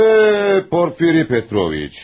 Öh, Porfiri Petroviç.